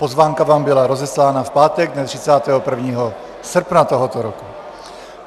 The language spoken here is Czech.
Pozvánka vám byla rozeslána v pátek dne 31. srpna tohoto roku.